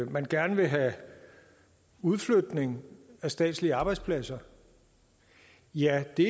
man gerne vil have udflytning af statslige arbejdspladser ja det